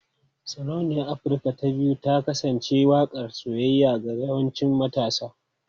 Sarauniyar Afirka ta 2face ta kasance waƙar soyayya ga yawancin matasa.